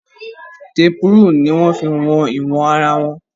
Tape rule ní wọ́n fí wọn ìwọ̀n ara wa.